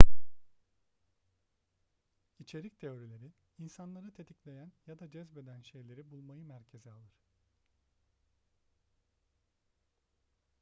i̇çerik teorileri insanları tetikleyen ya da cezbeden şeyleri bulmayı merkeze alır